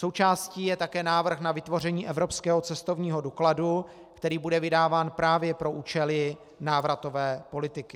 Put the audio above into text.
Součástí je také návrh na vytvoření evropského cestovního dokladu, který bude vydáván právě pro účely návratové politiky.